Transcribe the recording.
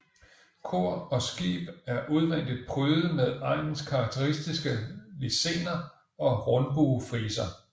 Kor og skib er udvendigt prydet med egnens karakteristiske lisener og rundbuefriser